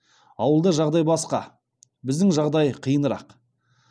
ауылда жағдай басқа біздің жағдай қиынырақ